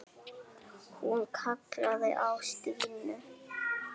Hún kallaði á Stínu.